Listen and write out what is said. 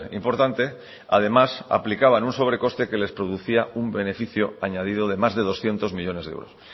importante además aplicaban un sobrecoste que les producía un beneficio añadido de más de doscientos millónes de euros